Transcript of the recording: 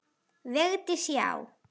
Vigdís: Já!